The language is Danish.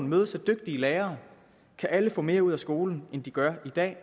mødes af dygtige lærere kan alle få mere ud af skolen end de gør i dag og